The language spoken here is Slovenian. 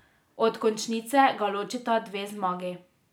Od končnice ga ločita dve zmagi.